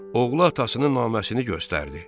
Oğlu atasının naməsini göstərdi.